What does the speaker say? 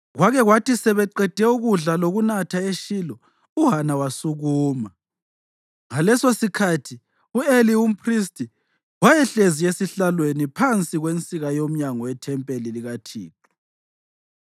Kwake kwathi sebeqede ukudla lokunatha eShilo, uHana wasukuma. Ngalesosikhathi u-Eli umphristi wayehlezi esihlalweni phansi kwensika yomnyango wethempeli likaThixo.